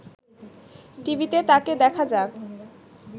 টিভিতে তাকে দেখা যাক